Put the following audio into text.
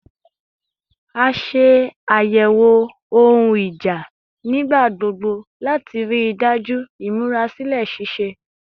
A ṣe ayẹwo ohun ija nigbagbogbo lati rii daju imurasilẹ ṣiṣe